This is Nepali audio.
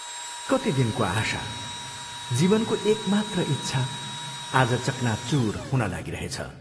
कति दिनको आशा, जीवनको एकमात्र इच्छा आज चकनाचूर हुन लागिरहेछ।